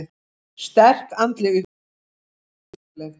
Sterk andleg upplifun óumflýjanleg